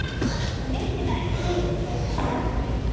Hún virti mig ekki viðlits svo ég kallaði aftur.